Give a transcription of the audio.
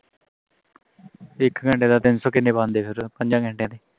ਇਕ ਘੰਟੇ ਦਾ ਤਿੰਨ ਸੌ ਕਿੰਨੇ ਬੰਦੇ ਫਿਰ ਪੰਜਾ ਘੰਟੇ ਦੇ